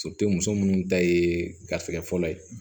muso munnu ta ye garisikɛ fɔlɔ ye